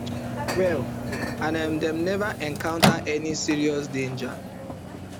well and um dem neva encounter any serious danger